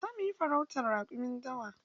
Zamu yi farautan raƙumin dawa.